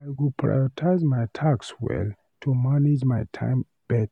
I go prioritize my tasks well to manage my time better.